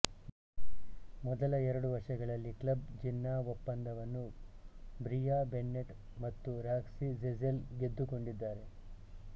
ಮೊದಲ ಎರಡು ವರ್ಷಗಳಲ್ಲಿ ಕ್ಲಬ್ ಜೆನ್ನಾ ಒಪ್ಪಂದವನ್ನು ಬ್ರಿಯಾ ಬೆನ್ನೆಟ್ ಮತ್ತು ರಾಕ್ಸಿ ಝೆಜೆಲ್ ಗೆದ್ದುಕೊಂಡಿದ್ದಾರೆ